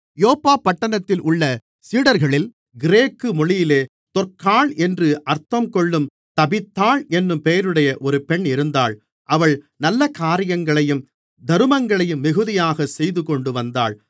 யோப்பா பட்டணத்தில் உள்ள சீடர்களில் கிரேக்கு மொழியிலே தொற்காள் என்று அர்த்தங்கொள்ளும் தபீத்தாள் என்னும் பெயருடைய ஒரு பெண் இருந்தாள் அவள் நல்லகாரியங்களையும் தருமங்களையும் மிகுதியாகச் செய்துகொண்டுவந்தாள்